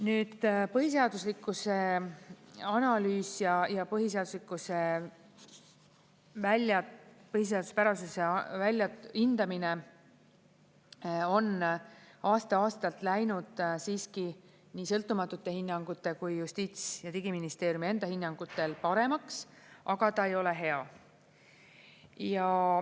Nüüd, põhiseaduslikkuse analüüs ja põhiseaduspärasuse hindamine on aasta-aastalt läinud siiski nii sõltumatute hinnangute kui ka Justiits- ja Digiministeeriumi enda hinnangul paremaks, aga ta ei ole hea.